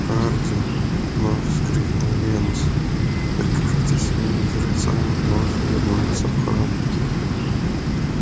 хардин вновь вскричал венус прикажите своим жрецам вновь вернуться в храм